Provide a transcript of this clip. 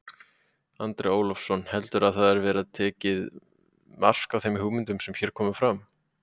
Andri Ólafsson: Heldurðu að það verði tekið mark á þeim hugmyndum sem hér komu fram?